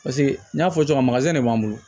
Paseke n y'a fɔ cogoya min na de b'an bolo